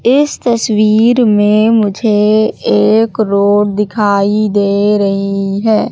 इस तस्वीर में मुझे एक रोड दिखाई दे रही है।